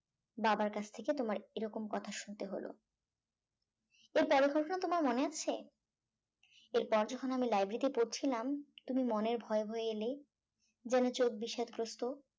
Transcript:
বাবার কাছ থেকে তোমার এরকম কথা শুনতে হলো এর পরের ঘটনা তোমার মনে আছে এর পর যখন আমি library তে পড়ছিলাম তুমি মনের ভয়ে ভয়ে এলে যেন চোখবিষাদগ্রস্ত